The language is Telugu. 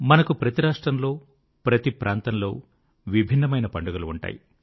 మనకు ప్రతి రాష్ట్రంలో ప్రతి ప్రాంతంలో విభిన్నమైన పండుగలు ఉంటాయి